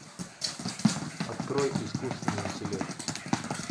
открой искусственный интеллект